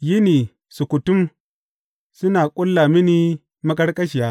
yini sukutum suna ƙulla mini maƙarƙashiya.